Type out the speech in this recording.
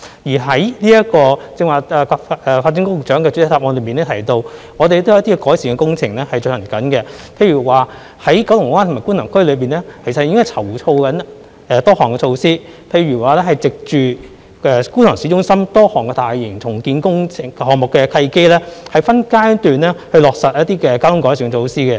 發展局局長剛才亦在主體答覆中提到，我們正在進行一些道路改善工程，例如在九龍灣和觀塘區籌劃多項措施，包括藉着觀塘市中心多項大型重建項目的契機，分階段落實一些交通改善措施。